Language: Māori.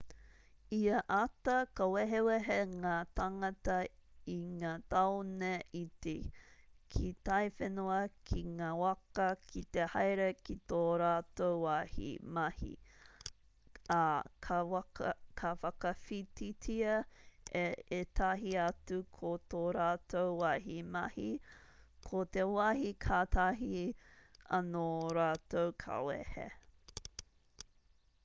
ia ata ka wehewehe ngā tāngata i ngā tāone iti ki taiwhenua ki ngā waka ki te haere ki tō rātou wāhi mahi ā ka whakawhititia e ētahi atu ko tō rātou wāhi mahi ko te wāhi kātahi anō rātou ka wehe